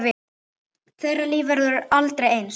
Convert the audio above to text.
Þeirra líf verður aldrei eins.